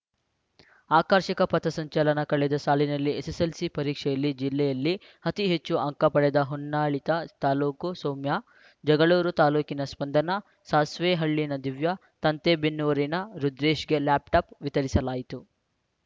ಆಕರ್ಷಕ ಪಥ ಸಂಚಲನ ಕಳೆದ ಸಾಲಿನ ಎಸ್ಸೆಸ್ಸೆಲ್ಸಿ ಪರೀಕ್ಷೆಯಲ್ಲಿ ಜಿಲ್ಲೆಯಲ್ಲಿ ಅತೀ ಹೆಚ್ಚು ಅಂಕ ಪಡೆದ ಹೊನ್ನಾಳಿ ತಾಲೂಕು ಸೌಮ್ಯ ಜಗಳೂರು ತಾಲೂಕಿನ ಸ್ಪಂದನ ಸಾಸ್ವೆಹಳ್ಳಿಯ ದಿವ್ಯಾ ಸಂತೇಬೆನ್ನೂರಿನ ರುದ್ರೇಶ್‌ಗೆ ಲ್ಯಾಪ್‌ ಟಾಪ್‌ ವಿತರಿಸಲಾಯಿತು